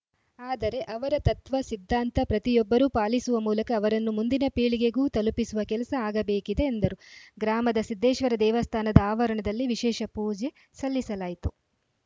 ಆದರೆ ಅವರ ತತ್ವ ಸಿದ್ಧಾಂತ ಪ್ರತಿಯೊಬ್ಬರೂ ಪಾಲಿಸುವ ಮೂಲಕ ಅವರನ್ನು ಮುಂದಿನ ಪೀಳಿಗೆಗೂ ತಲುಪಿಸುವ ಕೆಲಸ ಆಗಬೇಕಿದೆ ಎಂದರು ಗ್ರಾಮದ ಸಿದ್ಧೇಶ್ವರ ದೇವಸ್ಥಾನದ ಆವರಣದಲ್ಲಿ ವಿಶೇಷ ಪೂಜೆ ಸಲ್ಲಿಸಲಾಯಿತು